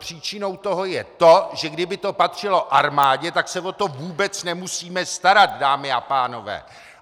Příčinou toho je to, že kdyby to patřilo armádě, tak se o to vůbec nemusíme starat, dámy a pánové!